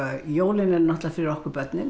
jólin eru náttúrlega fyrir okkur börnin